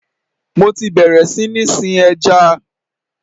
Mo ti bẹ̀rẹ̀ sí ní sin ẹja.